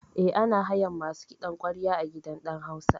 Eh, ana hayan masu kiɗan ƙwarya a gidan ɗan hausa